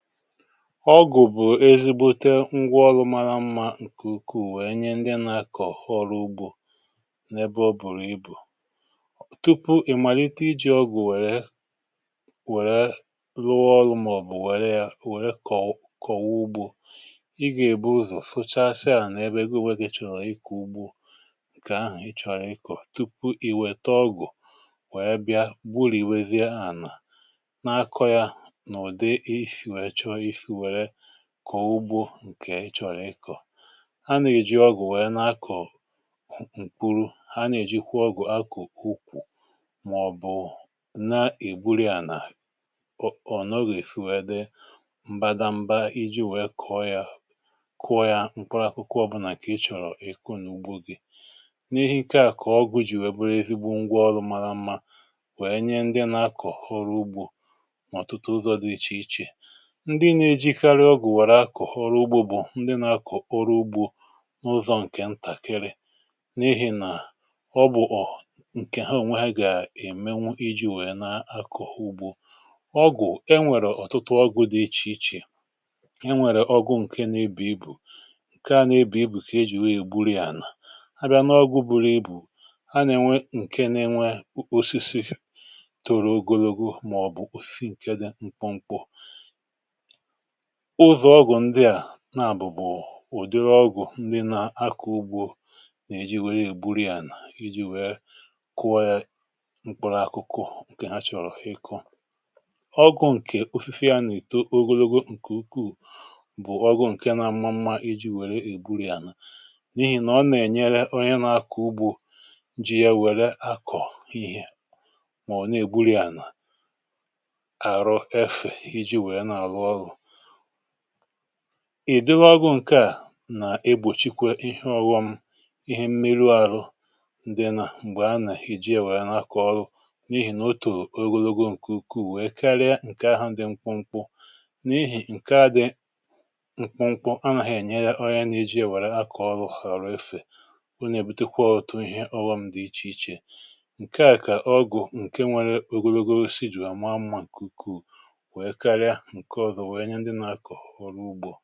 Ọgụ̀ bụ̀ ezigbo ngwa ọlụ mara mmá, nke ukwu̇, wèe nye ndị nà-akọ̀ ọrụ ugbò n’ebe o bùrù ibù. um Tupu ị̀ malite iji̇ ọgụ̀ wèrè wèrè rụọ ọlụ, màọ̀bụ̀ wèrè ya wèrè kọ̀wụ kọ̀wụ ugbò, ị gà-èbu ụzọ̀ fụchasị à, n’ebe gwunwèrè chọ̀rọ̀ ịkà ugbu, nke ahụ̀ ị chọ̀rọ̀ ịkọ̀… Tupu ì wète ọgụ̀ wèrè bịa gbùrù, iwèzie ànà na-akọ̇ ya n’ụ̀dị kọ̀ ugbò nke ị chọ̀rọ̀ ịkọ̀, ha nà-èji ọgụ̀ nwèrè n’akọ̀ ǹkùrù. Ha nà-èji kwụọ ọgụ̀ akụ̀ um ukwu̇, mà ọ̀bụ̀ụ̀ nà-ègburì à nà ọ, ọ̀ nọ, gà-èsi wèe dị mbadamba iji nwèe kọ̀ọ ya, kụọ ya mkpòrò. Akụkọ ọbụ̇nà kà ị chọ̀rọ̀ ị̀kụ n’ugbò gị, n’ihi ike a kọ̀ọgụ̀ ji̇, wèe bụrụ ezigbo ngwa ọlụ mara mmá, nwèe nye ndị nà-akọ̀ ọrụ ugbò um Mà, ọ̀tụtụ ụzọ̇ dị iche iche, ndị nà-ejikarị ọgụ̀ wàrà akụ̀ ọrụ ugbò bụ̀ ndị nà-akụ̀ ọrụ ugbò n’ụzọ nke ntàkịrị, n’ihi nà ọ bụ̀ nke ha ònwe ha gà-ème, nwu iji̇ wèe nà-akụ̀ ugbò. Ọgụ̀ e nwèrè, ọ̀tụtụ ọgụ̀ dị iche iche. E nwèrè ọgụ̀ nke nà-ebù ibu̇, nke nà-ebù ibu̇ kà ejì wèe gbùrù ya. Ànà ha bịa nà ọgụ̀ buru ibù, ha nà-ènwe nke nà-enwe osisi toro ogologo, mà ọ̀ bụ̀ ose nke dị mkpụmkpụ. Ùzò ọgwụ̀ ndị à na-àbụ̀bụ̀, ụ̀dịrị ọgwụ̀ ndị nà-akọ̀ ugbò nà-èji, nwèrè ègbùrù ya nà iji̇ um wèe kụwọ ya mkpòrò, akụkụ nke ha chọ̀rọ̀ ịkọ̀. Ọgwụ̇ nke ofịfịa nà-èto ogologo, nke ukwuù, bụ̀ ọgwụ̇ nke na mma mmá iji̇ wèrè ègbùrì ànà, n’ihi nà ọ nà-ènyere onye nà-akọ̀ ugbò ji ya wèrè akọ̀ ihé. Mà, ọ̀ na-ègbùrì ànà àrọ, èfè iji̇ wèe na-àrọ ọzụ̀, ìdewo agụ̀ nke a nà-egbòchikwè ihe ọ̀wọm, ihe mmiri ahụ̀. um N’dịnà m̀gbè a nàhịhị, ji èwèrè n’akọ̀ ọrụ, n’ihi nà otu ogologo nke ukwuù, wèe karịa nke ahụ̀, ndị mkpumkpu… N’ihi nà nke dị mkpụmkpụ anàhị̀ ènyere ọrịa, n’eji èwèrè akọ̀ ọrụ um Họ̀rụ̀ efè, ọ nà-èbutekwa ọrụ̇ tụ̀ ihe ọ̀wọm dị iche iche. Nke a kà ọ gụ̀, nke nwere ogologo sijùrù, àma mmà, ǹkùkù, ǹdewo, nà-ènye onye afọ̀, ìhèlè dịkwa ànwẹ̇ nà-àkọ̀ ọrụ ugbò.